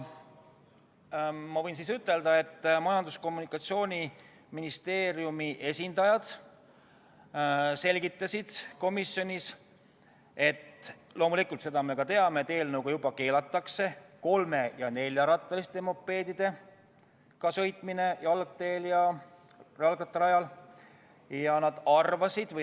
Ma võin ütelda, et Majandus- ja Kommunikatsiooniministeeriumi esindajad selgitasid komisjonis, et eelnõuga keelatakse kolme- ja neljarattaliste mopeedidega sõitmine jalgteel ja jalgrattarajal.